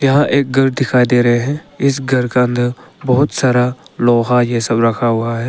यह एक घर दिखाई दे रहे है इस घर का अंदर बहुत सारा लोहा ये सब रखा हुआ है।